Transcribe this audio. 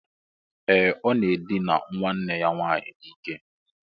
Ee! Ọ na-edina nwanne ya nwaanyị n'ike.